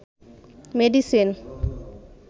medicine